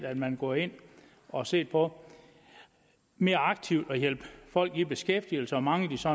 at man går ind og ser på mere aktivt at hjælpe folk i beskæftigelse og mangler de så